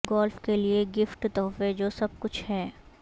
golf کے لئے gift تحفے جو سب کچھ ہے